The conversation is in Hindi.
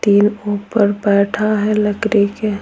तीन ऊपर बैठा है लकड़ी के--